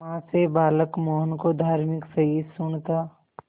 मां से बालक मोहन को धार्मिक सहिष्णुता